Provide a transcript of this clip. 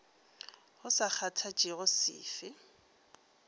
go sa kgathatšege se fe